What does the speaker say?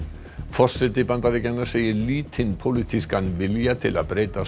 forseti Bandaríkjanna segir lítinn pólitískan vilja til að breyta